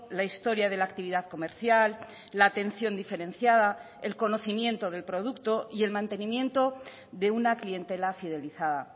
la historia de la actividad comercial la atención diferenciada el conocimiento del producto y el mantenimiento de una clientela fidelizada